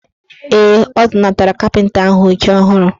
Ee, ọ zụnatara kapịnta ahụ oche ọhụrụ.